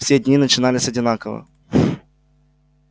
все дни начинались одинаково